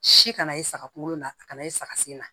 Si kana ye saga kunkolo la a kana ye saga sen na